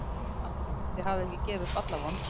Andri: Þið hafið ekki gefið upp alla von?